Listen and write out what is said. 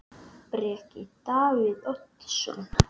Breki: Davíð Oddsson?